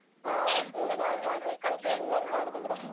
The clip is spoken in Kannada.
Special ಆಗ್ ಮಾಡುದಂದ್ರೆ?